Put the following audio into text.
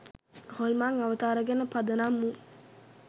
හොල්මන් අවතාර ගැන පදනම් වූ